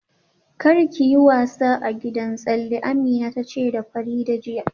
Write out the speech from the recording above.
Kar ki yi wasa a gidan tsalle, Amina ta ce da Fadila jiya